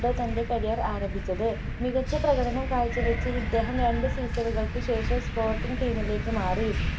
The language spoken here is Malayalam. തൻ്റെ career ആരംഭിച്ചത് മികച്ച പ്രകടനം കാഴ്ചവെച്ച ഇദ്ദേഹം രണ്ട്‌ season കൾക്കു ശേഷം spoting team ലേക്കു മാറി